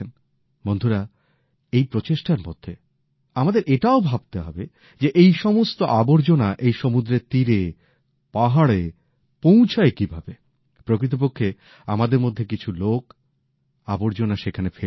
বন্ধুরা এই প্রচেষ্টার মধ্যে আমাদের এটাও ভাবতে হবে যে এই সমস্ত আবর্জনা এই সমুদ্রের তীরে পাহাড়ে পৌঁছায় কিভাবে প্রকৃতপক্ষে আমাদের মধ্যে কিছু লোক আবর্জনা সেখানে ফেলে আসে